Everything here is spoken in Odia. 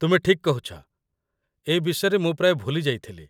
ତୁମେ ଠିକ୍ କହୁଛ, ଏ ବିଷୟରେ ମୁଁ ପ୍ରାୟ ଭୁଲି ଯାଇଥିଲି।